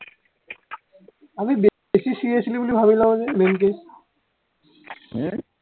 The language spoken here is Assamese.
আমি বে বেছি seriously বুলি ভাৱি লও যে main কে উম